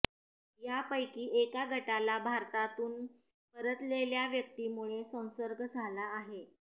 यापैकी एका गटाला भारतामधून परतलेल्या व्यक्तीमुळे संसर्ग झाला आहे